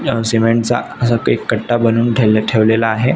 अ cement चा असा के कट्टा बनवुन ठे ठेवलेला आहे.